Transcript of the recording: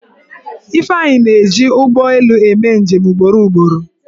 Ifeanyi na-eji ụgbọelu eme njem ugboro ugboro.